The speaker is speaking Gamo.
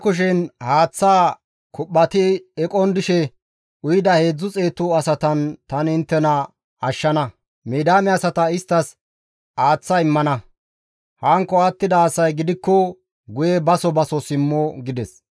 GODAY Geedoone, «Bantta kushen haaththaa kuphphati eqon dishe uyida heedzdzu xeetu asatan tani inttena ashshana; Midiyaame asata inttes aaththa immana; hankko attida asay gidikko guye baso baso simmo» gides.